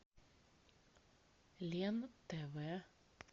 лен тв